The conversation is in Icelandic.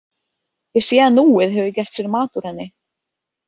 Ég sé að Núið hefur gert sér mat úr henni.